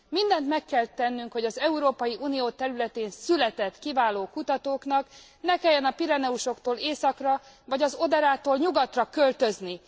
Mindent meg kell tennünk, hogy az Európai Unió területén született kiváló kutatóknak ne kelljen a Pireneusoktól északra, vagy az Oderától nyugatra költözni.